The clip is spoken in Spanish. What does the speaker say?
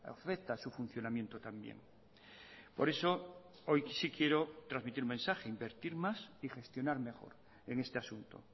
afecta a su funcionamiento también por eso hoy sí quiero transmitir mensaje invertir más y gestionar mejor en este asunto